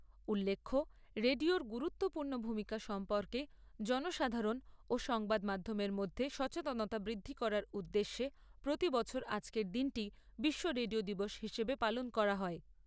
উল্লেখ্য রেডিওর গুরুত্বপূর্ণ ভূমিকা সম্পর্কে জনসাধারণ ও সংবাদ মাধ্যমের মধ্যে সচেতনতা বৃদ্ধি করার উদ্দেশ্যে প্রতি বছর আজকের দিনটি বিশ্ব রেডিও দিবস হিসেবে পালন করা হয়।